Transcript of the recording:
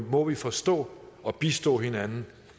må vi forstå og bistå hinanden